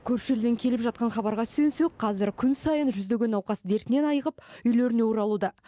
көрші елден келіп жатқан хабарға сүйенсек қазір күн сайын жүздеген науқас дертінен айығып үйлеріне оралуда